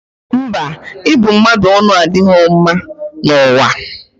Mba, ịbụ mmadụ ọnụ adịghọ mma n'ụwa a.